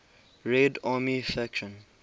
red army faction